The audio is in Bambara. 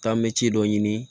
Taa mɛ ci dɔ ɲini